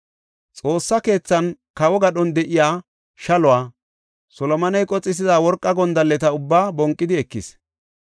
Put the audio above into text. Xoossa keethaanne kawo gadhon de7iya shaluwa, Solomoney qoxisida worqa gondalleta ubbaa bonqidi ekis.